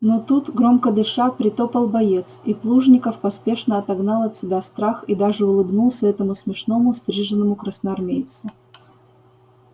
но тут громко дыша притопал боец и плужников поспешно отогнал от себя страх и даже улыбнулся этому смешному стриженому красноармейцу